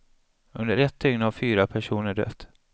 Under ett dygn har fyra personer dött.